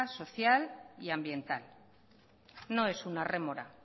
social y ambiental no es una rémora